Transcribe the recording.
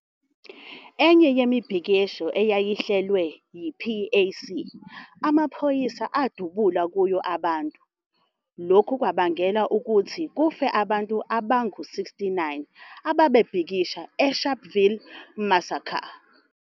Enye yemibhikisho eyayihlelwe yi-PAC, amaphoyisa adubula kuyo abantu, lokhu okwabangela ukuthi kufe abantu abangu 69 ababebhekisha eSharpeville massacre.